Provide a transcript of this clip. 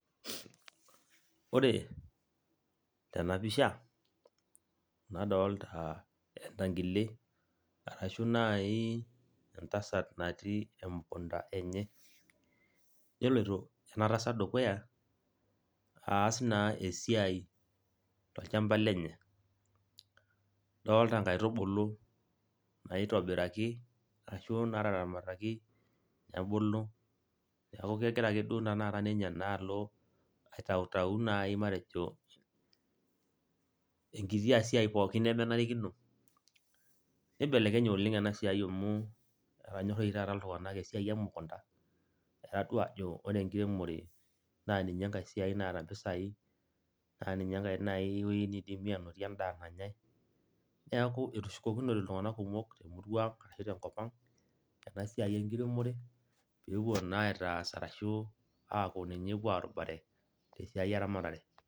Ore tenapisha, nadolta entankile arashu entasat natii emukunda enye. Neloito enatasat dukuya aas naa esiai tolchamba lenye. Adolta nkaitubulu naitobiraki ashu nataramataki, nebulu, neeku kegira ake duo tanakata ninye naalo aitautau nai matejo enkitia siai pookin nemenarikino. Nibelekenye oleng enasiai amu etonyorra oshi taata iltung'anak esiai emukunda, etadua ajo ore enkiremore naa ninye enkae siai naata mpisai, ninye enkae woi nai nidimi anotie endaa nanyai, neeku etushukokinote iltung'anak kumok temurua ang' ashu tenkop ang', enasiai enkiremore, pepuo naa aitaas arashu aku ninye epuo arubare tesiai eramatare.